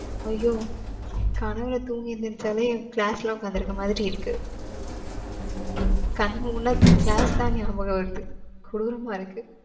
ஐயோ! கனவுல தூங்கி எந்திரிச்சாலே, எனக்கு class ல உட்கார்ந்திருக்குற மாதிரி இருக்கு. கண்ணு மூடுனா class தான் ஞாபகம் வருது. கொடூரமா இருக்கு.